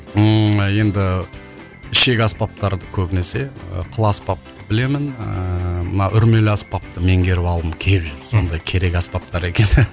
ммм енді ішек аспаптарды көбінесе ыыы қыл аспапты білемін ыыы мына үрмелі аспапты меңгеріп алғым келіп жүр сондай керек аспаптар екен